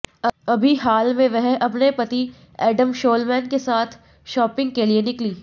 अभी हाल में वह अपने पति एडम शोलमैन के साथ शाॅपिंग के लिए निकलीं